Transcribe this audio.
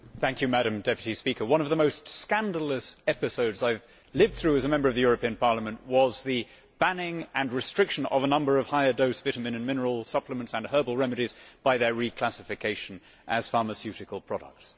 Madam President, one of the most scandalous episodes I have lived through as a Member of the European Parliament was the banning and restriction of a number of higher dose vitamin and mineral supplements and herbal remedies by their reclassification as pharmaceutical products.